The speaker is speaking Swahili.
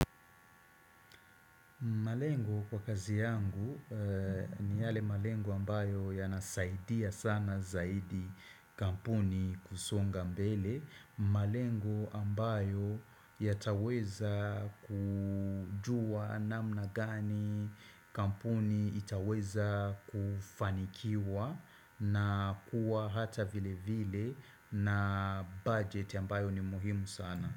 Malengo kwa kazi yangu ni yale malengo ambayo yanasaidia sana zaidi kampuni kusonga mbele. Malengo ambayo yataweza kujua namna gani kampuni itaweza kufanikiwa na kuwa hata vile vile na budget ambayo ni muhimu sana.